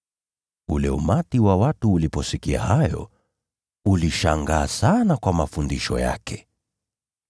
Ule umati wa watu uliposikia hayo, ulishangaa sana kwa mafundisho yake.